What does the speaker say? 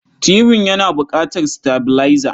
Tibin yana buƙatar sitabilaiza.